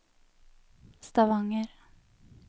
Stavanger